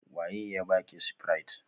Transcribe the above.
Wa ye ya baki spirit?